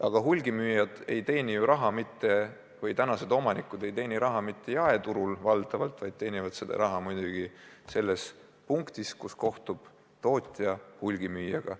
Aga hulgimüüjatest ketiapteekide omanikud ei teeni raha valdavalt mitte jaeturul, vaid teenivad raha selles punktis, kus kohtub tootja hulgimüüjaga.